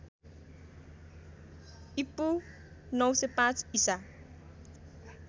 ईपू ९०५ ईसा